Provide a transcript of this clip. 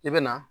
I bɛ na